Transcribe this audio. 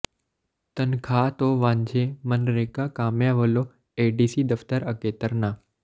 ਤਨਖਾਹ ਤੋਂ ਵਾਂਝੇ ਮਗਨਰੇਗਾ ਕਾਮਿਆਂ ਵੱਲੋਂ ਏਡੀਸੀ ਦਫ਼ਤਰ ਅੱਗੇ ਧਰਨਾ